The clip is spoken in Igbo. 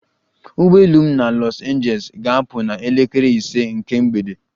Ụgbọ elu m na Los Angeles ga-apụ na elekere ise nke mgbede